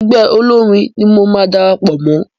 Ẹgbẹ́ olórin ni mo máa darapọ̀ mọ́.